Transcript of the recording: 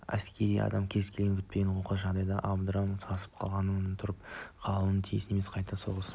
әскери адам кез келген күтпеген оқыс жағдайдан абдырап сасып қалшиып тұрып қалуға тиіс емес қайта оқыс